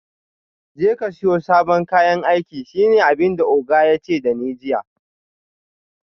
Jeka siyo sabon kayan aiki shine abinda oga yace dani jiya